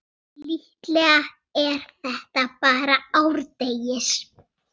Fyrir á Erla Lindu Rún.